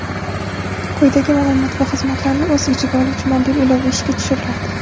Quyidagi maʼlumot va xizmatlarni o‘z ichiga oluvchi mobil ilova ishga tushiriladi:.